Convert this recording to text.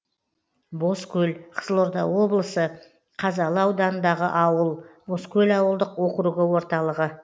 бозкөл қызылорда облысы қазалы ауданындағы ауыл бозкөл ауылдық округі орталығы